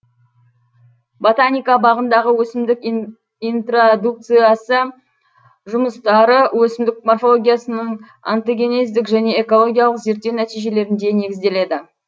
ботаника бағындағы өсімдік интродукциясы жұмыстары өсімдік морфологиясының онтогенездік және экологиялық зерттеу нәтижелерінде негізделеді